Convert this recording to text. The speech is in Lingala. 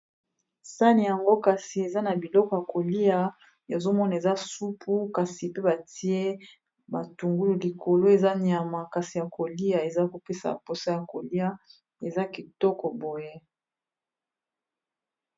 Sani yango kasi eza na biloko ya kolia ya zomona eza supu kasi pe batie batungulu likolo eza nyama, kasi ya kolia eza kopesa mposa ya kolia eza kitoko boye.